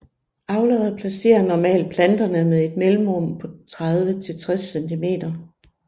Avlere placerer normalt planterne med et mellemrum på 30 til 60 cm